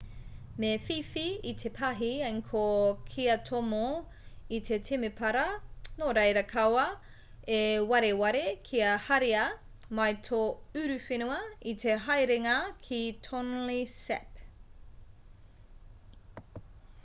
me whiwhi i te pāhi angkor kia tomo i te temepara nōreira kaua e wareware kia haria mai tō uruwhenua i te haerenga ki tonle sap